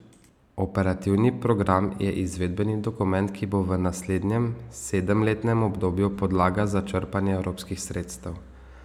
Operativni program je izvedbeni dokument, ki bo v naslednjem sedemletnem obdobju podlaga za črpanje evropskih sredstev.